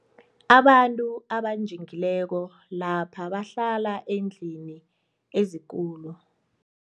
Abantu abanjingileko lapha bahlala eendlini ezikulu.